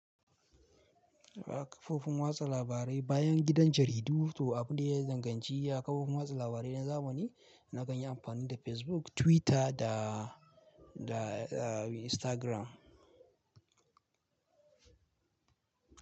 A kafofin watsa labarai bayan gidan jaridu, to abun da ya yi zanganci a kafofin watsa labarai na zamani na kan yi amfani da Facebook, Twitter da, da, da Instagram.